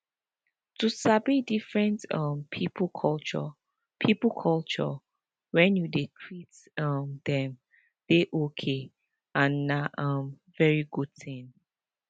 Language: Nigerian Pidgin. to sabi different um people culture people culture when you dey treat um them dey okay and na um very good thing